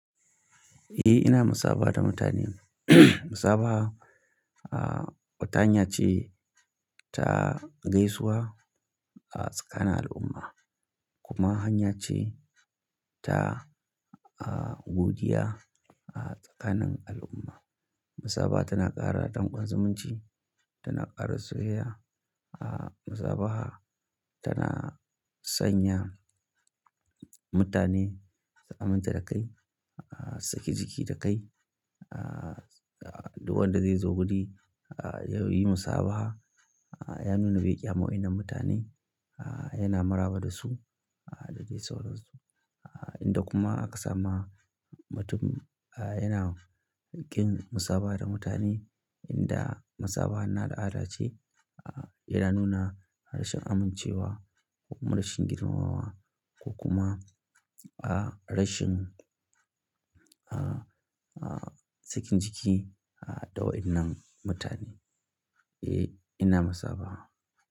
Eh ina musabaha da mutane. Musabaha, ah, wata hanya ce ta gaisuwa a tsakanin al'umma kuma hanya ce ta, ah, godiya a tsakanin al'umma. Musabaha tana ƙara dangon zumunci, tana ƙara soyayya. Ah, musabaha tana sanya mutane su aminta da kai, ah, sake jiki da kai. Ah, duk wanda zai zo guri, ah, yayi musabaha, ah, ya nuna bai kyaman wa'innan mutane, ah, yana maraba da su da dai sauransu. Ah, idan kuma aka sama mutum, ah, yana kin musaba da mutane, inda musabaha na al'ada ce, ah, yana nuna rashin amincewa ko kuma rashin girmamawa ko kuma, ah, rashin, ah, ah, sakin jiki da wa'inan mutane. Eh ina musabaha.